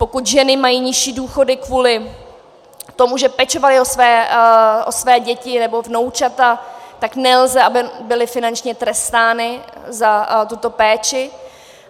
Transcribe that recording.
Pokud ženy mají nižší důchody kvůli tomu, že pečovaly o své děti nebo vnoučata, tak nelze, aby byly finančně trestány za tuto péči.